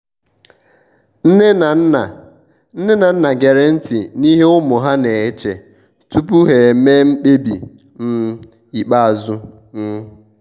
nne na nna nne na nna gere nti n'ihe ụmụ ha na-eche tupu ha emee mkpebi um ikpeazụ. um